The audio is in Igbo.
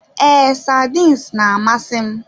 Ee, sardines na-amasị m.